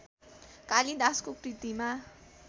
कालिदासको कृतिमा